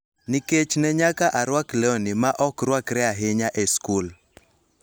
Nikech ne nyaka arwak lewni ma ok rwakre ahinya e skul.